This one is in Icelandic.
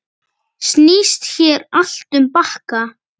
Snýst hér allt um bakka.